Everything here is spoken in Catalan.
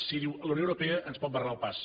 si diu la unió europea ens pot barrar el pas